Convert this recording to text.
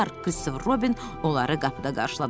Christopher Robin onları qapıda qarşıladı.